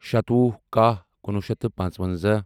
شَتوُہ کَہہ کُنوُہ شیٚتھ تہٕ پانٛژوَنٛزاہ